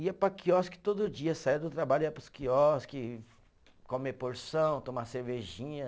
Ia para quiosque todo dia, saía do trabalho, ia para os quiosques, comer porção, tomar cervejinha.